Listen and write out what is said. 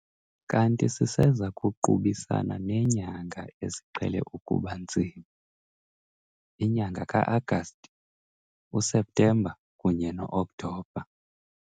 Kanti siseza kuqubisana neenyanga eziqhele ukuba nzima, inyanga kaAgasti, uSeptemba kunye no-Okthobha.